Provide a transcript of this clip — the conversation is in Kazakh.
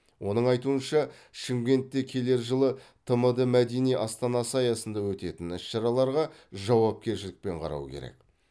оның айтуынша шымкентте келер жылы тмд мәдени астанасы аясында өтетін іс шараларға жауапкершілікпен қарау керек